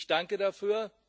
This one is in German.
ich danke dafür.